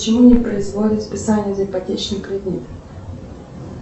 почему не производят списание за ипотечный кредит